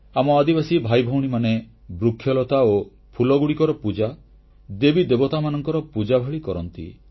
ଆମ ଆଦିବାସୀ ଭାଇଭଉଣୀମାନେ ବୃକ୍ଷଲତା ଓ ଫୁଲଗୁଡ଼ିକର ପୂଜା ଦେବୀଦେବତାମାନଙ୍କର ପୂଜା ଭଳି କରନ୍ତି